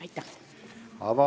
Aitäh!